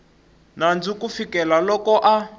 nandzu ku fikela loko a